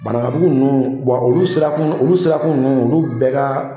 Banakabugu ninnu olu sirakun olu sirakun ninnu olu bɛɛ ka